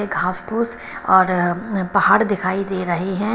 में घास फूस और पहाड़ दिखाई दे रहे हैं।